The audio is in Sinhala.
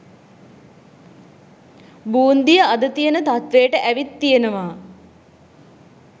බූන්දිය අද තියෙන තත්ත්වයට ඇවිත් තියෙනවා.